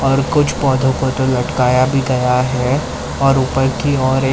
और कुछ पौधों को तो लटकाया भी गया है और ऊपर की ओर एक--